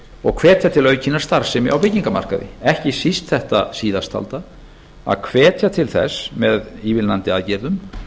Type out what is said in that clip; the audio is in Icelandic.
og hvetja til aukinnar starfsemi á byggingamarkaði ekki síst þetta síðast talda að hvetja til þess með ívilnandi aðgerðum